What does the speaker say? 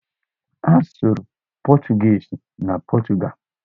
A sụrụ pọchụguishi na Pọchụgalụ.